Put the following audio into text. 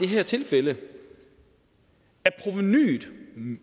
her tilfælde at